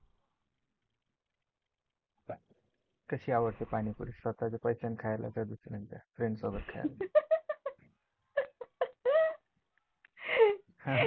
कशी आवडते पाणीपुरी स्वतःच्या पैशांनी खायला की दुसरेंचा friends सोबत खायला.